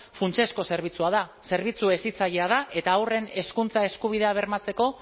funtsezko zerbitzua da zerbitzu hezitzailea da eta horren hezkuntza eskubidea bermatzeko